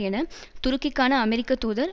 என துருக்கிக்கான அமெரிக்க தூதர்